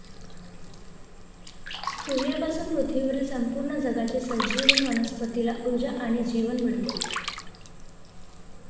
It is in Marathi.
सूर्यापासून पृथ्वीवरील संपूर्ण जगाचे संजीवन वनस्पतीला ऊर्जा आणि जीवन मिळते.